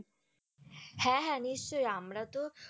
হ্যাঁ, হ্যাঁ নিশ্চই আমরা তো